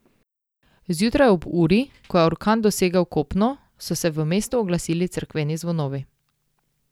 Zjutraj, ob uri, ko je orkan dosegel kopno, so se v mestu oglasili cerkveni zvonovi.